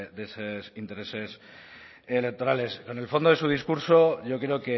de esos intereses electorales con el fondo de su discurso yo creo